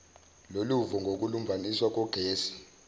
loluvo ngokulumbaniswa kwengosi